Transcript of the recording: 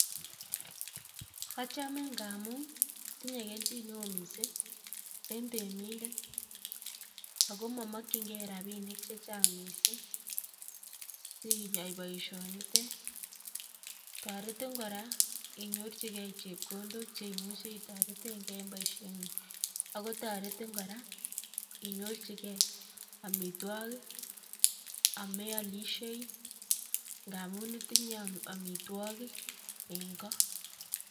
achome ng'amun tinye kelyin neo missing en temindet, ako momokying'en rabinik chechang missing siyai boisionitet, toretin kora inyorjigen chebkondok cheimuje itoreteng'en en boisieng'ung, ako toretin kora iny'orjichen omitwogik ameolisiei, ng'amun itinye omitwogik en ko.